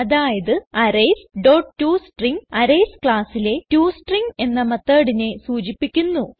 അതായത് arrays dot to string arrays classലെ to string എന്ന methodനെ സൂചിപ്പിക്കുന്നു